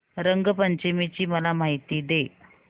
रंग पंचमी ची मला माहिती दे